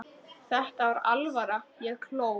Þetta var alvara, ég hló.